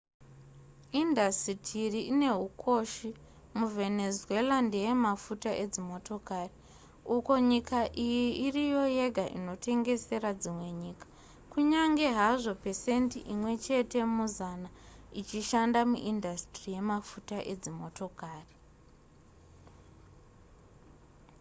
indasitiri ine hukoshi muvenezuela ndeye mafuta edzimotokari uko nyika iyi iriyo yega inotengesera dzimwe nyika kunyange hazvo pesendi imwe chete muzana ichishanda muindasitiri yemafuta edzimotokari